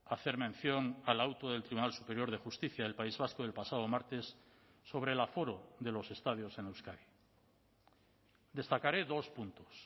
hacer mención al auto del tribunal superior de justicia del país vasco del pasado martes sobre el aforo de los estadios en euskadi destacaré dos puntos